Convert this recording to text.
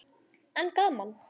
En gaman!